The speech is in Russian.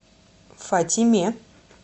фатиме